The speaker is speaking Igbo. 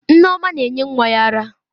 Nneoma na-enye nwa ya ara.